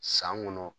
San kɔnɔ